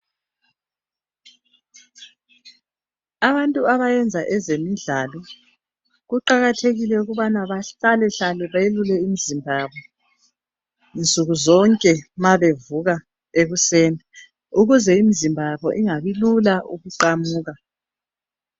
Abantu abayenza ezemidlalo kuqakathekile ukubana bahlale hlale belule imizimba yabo nsuku zonke ma bevuka ekuseni ukuze imizimba yabo ungani lula ukuqamuka.